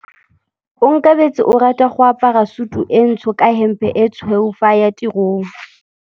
Onkabetse o rata go apara sutu e ntsho ka hempe e tshweu fa a ya tirong.